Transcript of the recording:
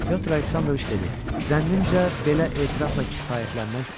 Pyotr Aleksandroviç dedi: "Zənnimcə belə etirafla kifayətlənmək olar."